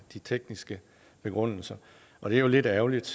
de tekniske begrundelser og det er jo lidt ærgerligt